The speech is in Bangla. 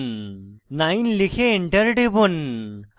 9 লিখে enter টিপুন